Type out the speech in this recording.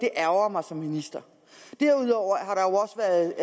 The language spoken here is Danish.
ærgrer mig som minister derudover